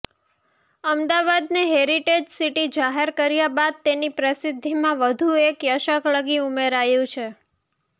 અમદાવાદને heritage city જાહેર કર્યા બાદ તેની પ્રસિદ્ધિમાં વધુ એક યશકલગી ઉમેરાયું છે